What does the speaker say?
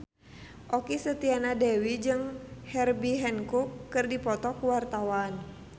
Okky Setiana Dewi jeung Herbie Hancock keur dipoto ku wartawan